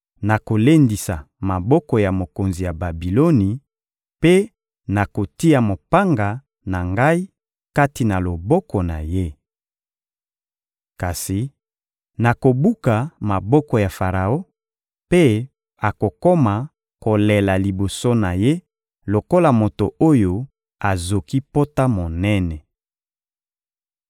Nakolendisa maboko ya mokonzi ya Babiloni mpe nakotia mopanga na Ngai kati na loboko na ye. Kasi nakobuka maboko ya Faraon, mpe akokoma kolela liboso na ye lokola moto oyo azoki pota monene.